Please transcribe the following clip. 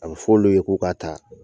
A bɛ f'ɔlu ye k'u k'a taa